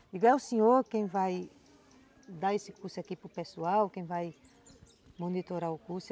Eu digo, é o senhor quem vai dar esse curso aqui para o pessoal, quem vai monitorar o curso?